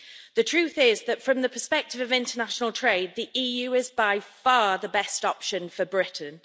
The truth is that from the perspective of international trade, the EU is by far the best option for Britain.